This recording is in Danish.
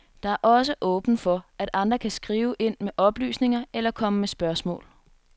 Der er også åbent for at andre kan skrive ind med oplysninger eller komme med spørgsmål.